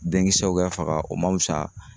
Denkisɛw ka faga, o man fisa